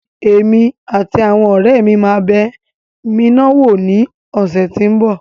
Èmi àti àwọn ọ̀rẹ́ mi máa bẹ miná wò ní ọ̀sẹ́ tí ń bọ̀.